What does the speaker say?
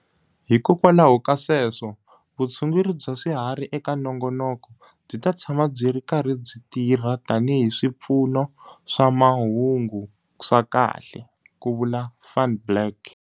Hikwalaho ka sweswo, vutshunguri bya swiharhi eka nongonoko byi ta tshama byi ri karhi byi tirha tanihi swipfuno swa mahungu swa kahle, ku vula Van Blerk.